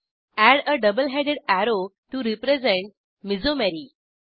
add a double headed arrow to represent मेसोमेरी